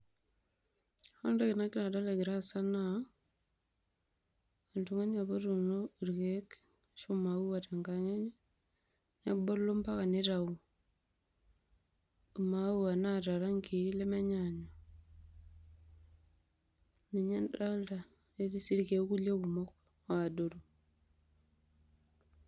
Ore entoki nagira adol egira aasa naa oltung'ani apa otuuno irkeek ashu a maua tenkang' enye, nebulu mpaka nitau i maua naata rangi i lemenyaanyuk. Ninye adolta netii sii irkulie keek kumok adoru.